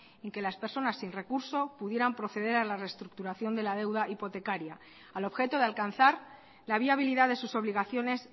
en que las personas sin recurso pudieran proceder a la reestructuración de la deuda hipotecaria al objeto de alcanzar la viabilidad de sus obligaciones